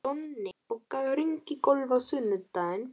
Donni, bókaðu hring í golf á sunnudaginn.